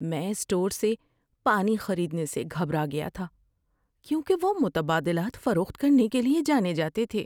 میں اسٹور سے پانی خریدنے سے گھبرا گیا تھا کیونکہ وہ متبادلات فروخت کرنے کے لیے جانے جاتے تھے۔